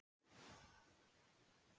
Ástbjörn, hvað er að frétta?